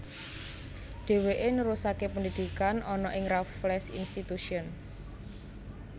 Dheweke nerusake pendidikan ana ing Raffles Institution